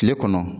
Tile kɔnɔ